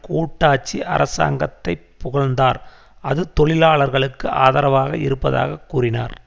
கூட்டாட்சி அரசாங்கத்தை புகழ்ந்தார் அது தொழிலாளர்களுக்கு ஆதரவாக இருப்பதாக கூறினார்